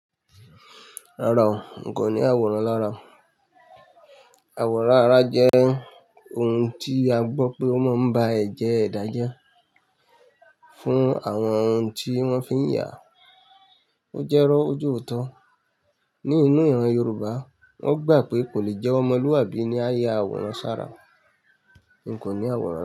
Rárá o, n kò ní àwòrán lára. Àwòrán ara jẹ́ ohun tí a gbọ́ pé ó máa ń bá ẹ̀jẹ̀ ẹda jẹ fún àwọn ohun tí wọ́n fi ń yà á. Ó jẹ́rọ ojòótọ́. Ní inú ẹran Yorùbá, wọ́n gbà pé kò lè jẹ́ ọmọlúàbí ní á yá àwòrán sára. N kò ní àwòrán.